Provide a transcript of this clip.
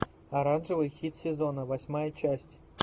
оранжевый хит сезона восьмая часть